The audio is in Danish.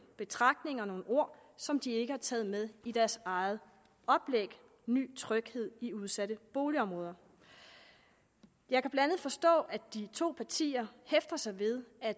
betragtninger og nogle ord som de ikke har taget med i deres eget oplæg ny tryghed i udsatte boligområder jeg kan blandt andet forstå at de to partier hæfter sig ved at